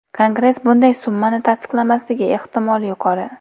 Kongress bunday summani tasdiqlamasligi ehtimoli yuqori.